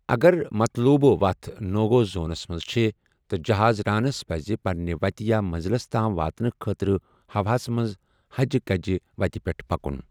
اگر مطلوبہٕ وتھ نو گو زونَس منٛز چھِ، تہٕ جہاز رانَس پَزِ پننہِ وتہِ یا منٛزلَس تام واتنہٕ خٲطرٕ ہوا ہَس منٛز ہَجہِ کَجہِ وتہِ پٮ۪ٹھ پَکُن۔